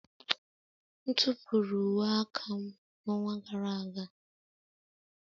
M tụpụrụ uwe aka m n'ọnwa gara aga.